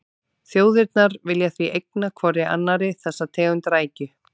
Þjóðirnar vilja því eigna hvorri annarri þessa tegund rækju.